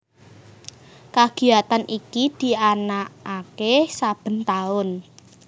Kagiyatan iki dianakake saben taun